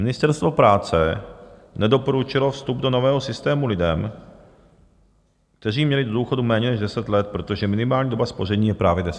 Ministerstvo práce nedoporučilo vstup do nového systému lidem, kteří měli do důchodu méně než 10 let, protože minimální doba spoření je právě 10 let.